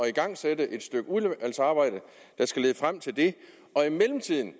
igangsætte et stykke udvalgsarbejde der skal lede frem til det og i mellemtiden